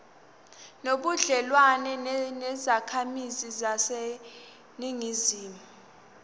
nobudlelwane nezakhamizi zaseningizimu